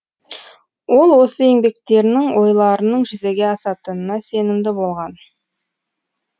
ол осы еңбектерінің ойларының жүзеге асатынына сенімді болған